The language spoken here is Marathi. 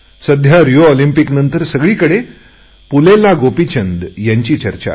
सध्या रिओ ऑलिंम्पिकनंतर सगळीकडे पुल्लेला गोपीचंद यांची चर्चा आहे